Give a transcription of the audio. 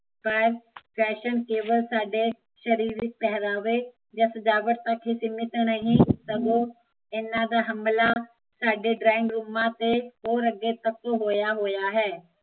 ਪਰ ਫੈਸ਼ਨ ਕੇਵਲ ਸਾਡੇ ਸ਼ਰੀਰਕ ਪਹਿਰਾਵੇ ਜਾ ਸਜਾਵਟ ਤਕ ਹੀਂ ਸੀਮਿਤ ਨਹੀਂ ਸਗੋਂ ਇਹਨਾਂ ਦਾ ਹਮਲਾ ਸਾਡੇ ਡ੍ਰਾਇੰਗ ਰੂਮਾਂ ਤੇ ਹੋਰ ਅੱਗੇ ਤਕ ਹੋਇਆ ਹੋਇਆ ਹੈ